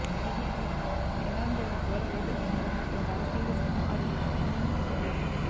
ఈజిప్టులో శనివారం జరిగిన ఘోర రోడ్డు ప్రమాదంలో ఓ భారతీయుడు సహా ఆరుగురు దుర్మరణం చెందారు